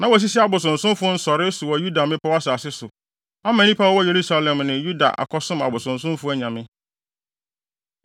Na wasisi abosonsomfo nsɔree so wɔ Yuda mmepɔw asase so, ama nnipa a wɔwɔ Yerusalem ne Yuda akɔsom abosonsomfo anyame.